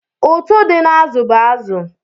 Ụ̀tụ́ dị n'azụ bụ azụ.